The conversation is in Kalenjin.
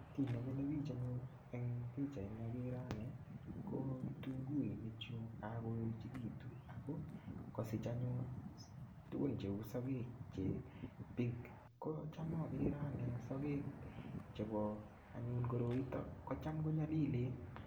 Kiy nemile bich anyun eng pichait ni akere anee, ko kitunguinik chu kakoechekitu. Ako kasich anyun tugun cheu sagek che pink. Kocham akere anyun sagek chebo koroito, kocham ko nyalilen.